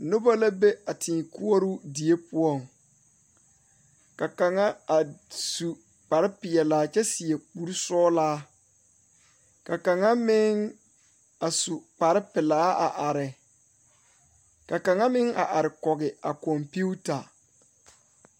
Noba la be a teeŋ koɔro die poɔ, ka kaŋ a su kparre pɛlaa kyɛ seɛ kure sɔglaa ka kaŋ. meŋ a su kparre pɛlaa a are, ka kaŋa meŋ a are kɔge a komputor